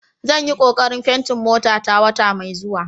Zan yi kokarin fenti motata wata mai zuwa.